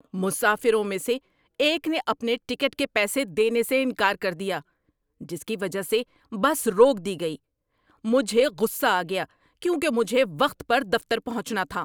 مسافروں میں سے ایک نے اپنے ٹکٹ کے پیسے دینے سے انکار کر دیا، جس کی وجہ سے بس روک دی گئی۔ مجھے غصہ آ گیا کیونکہ مجھے وقت پر دفتر پہنچنا تھا۔